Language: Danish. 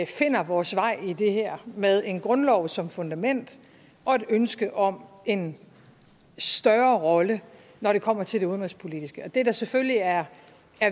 finder vores vej i det her med en grundlov som fundament og et ønske om en større rolle når det kommer til det udenrigspolitiske det der selvfølgelig er